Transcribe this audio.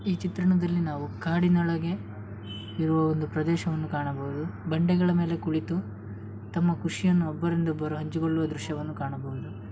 ಈ ಚಿತ್ರಣದಲ್ಲಿ ನಾವು ಕಾಡಿನೊಳಗೆ ಇರುವ ಒಂದು ಪ್ರದೇಶವನ್ನು ಕಾಣಬಹುದು ಬಂಡೆಗಳ ಮೇಲೆ ಕುಳಿತು ತಮ್ಮ ಖುಷಿಯನ್ನು ಒಬ್ಬರಿಂದ ಒಬ್ಬರು ಹಂಚಿಕೊಳ್ಳುವ ದೃಶ್ಯವನ್ನು ಕಾಣಬಹುದು.